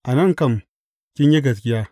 A nan kam kin yi gaskiya.